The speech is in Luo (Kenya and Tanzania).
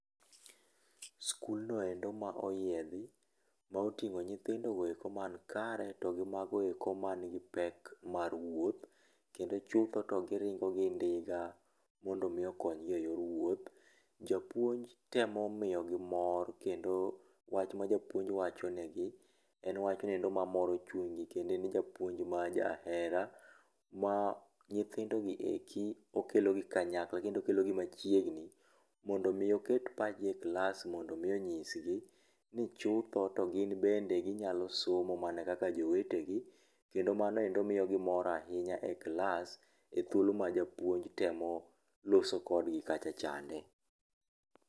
Skulno endo ma oyiedhi, ma oting'o nyithindogo eko man kare to gi mago eko man gi pek mar wuoth. Kendo chutho to giringo gi ndiga mondo mi okonygi e yor wuoth. Japuonj temo miyogi mor kendo wach ma japuonj wachonegi, en wachno endo mamoro chunygi kendo en japuonj ma jahera, ma nyithindogi eki okelogi kanyakla kendo okelogi machiegni, mondo mi oket pachgi e klas mondo mi onyisgi, ni chutho to gin bende ginyalo somo mana kaka jowetegi, kendo mano endo miyogi mor ahinya e klas, e thuolo ma japuonj temo loso kodgi kacha chande.